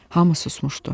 Hamı susmuşdu.